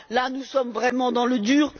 Là, nous sommes vraiment dans le dur.